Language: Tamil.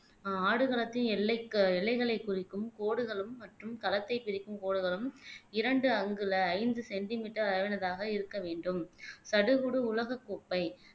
ஆஹ் ஆடுகளத்தின் எல்லைக எல்லைகளை குறிக்கும் கோடுகளும் மற்றும் களத்தை பிரிக்கும் கோடுகளும் இரண்டு அங்குல ஐந்து சென்டிமீட்டர் அளவினதாக இருக்க வேண்டும் சடுகுடு உலகக் கோப்பை